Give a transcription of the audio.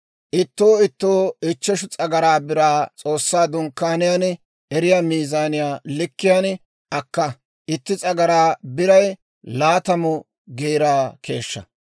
ittoo ittoo ichcheshu s'agaraa biraa S'oossaa Dunkkaaniyaan erettiyaa miizaaniyaa likkiyaan akka; Itti S'agaraa Biray Laatamu Geera keeshshaa.